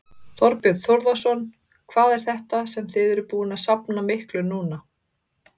Þorbjörn Þórðarson: Hvað er þetta sem þið eruð búin að safna miklu núna?